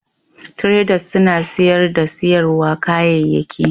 traders suna siyarda da siyarwa kayayyaki